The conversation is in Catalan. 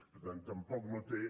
per tant tampoc no té